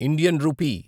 Indian rupee